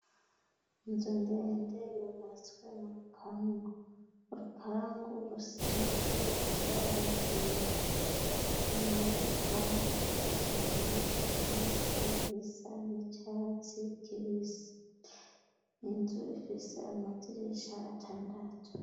Inzu ndee nde yubatswe mu rupangu urupangu rusize ibaragera inyuma y'urupangu hateye ivyatsi ivyisa nicatsi kibisi inzu ifise amazirisha atandatu.